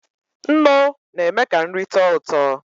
Nnụ na eme ka nri tọọ ụtọ.